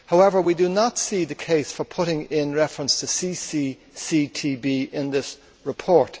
However, we do not see the case for including reference to the CCCTB in this report.